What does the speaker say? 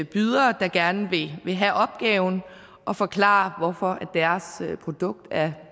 bydere der gerne vil have opgaven at forklare hvorfor deres produkt er